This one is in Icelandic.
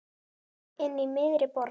Inní miðri borg.